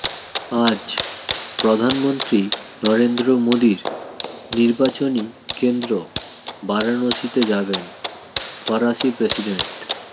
আজ প্রধানমন্ত্রী নরেন্দ্র মোদীর নির্বাচনী কেন্দ্র বারাণসীতে যাবেন ফরাসি প্রেসিডেন্ট